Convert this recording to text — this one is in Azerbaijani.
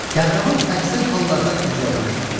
Qəhrəman əksər hallarda ideallaşdırılır.